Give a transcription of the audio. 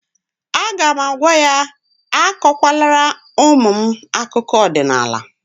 A ga'm-agwa ya, akụkwa lara ụmụ m akụkọ ọdịnala